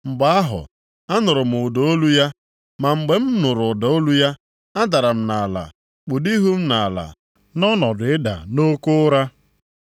Mgbe ahụ, anụrụ m ụda olu ya, ma mgbe m nụrụ ụda olu ya, adara m nʼala kpudo ihu nʼala nʼọnọdụ ịda nʼoke ụra.